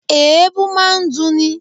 Èébú máa ń dunni